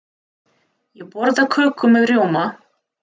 Ég borða köku með rjóma.